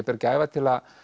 ber gæfa til að